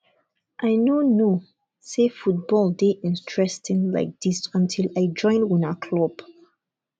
i no know say football dey interesting like dis until i join una club